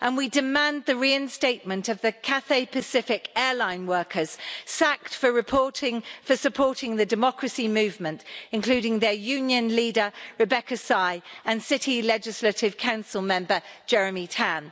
We demand the reinstatement of the Cathay Pacific airline workers sacked for supporting the democracy movement, including their union leader Rebecca Sy and City Legislative Council Member Jeremy Tam.